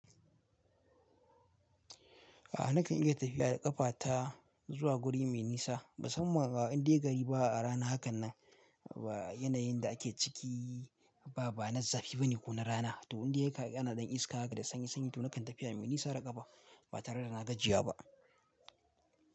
A'a nakan iya tafiya da ƙafa ta zuwa guri me nisa, musamman a indai gari ba a rana hakan nan. Ba yanayin da ake ciki ba, ba na zafi bane ko na rana. To in dai ka ana ɗan iska da sanyi sanyi to nakan tafiya mai nisa da ƙafa ba tare da na gajiya ba.